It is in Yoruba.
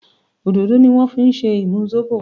òdodo ni wan fí ṣe imú Zobo